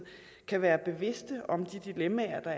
kan være bevidste om de dilemmaer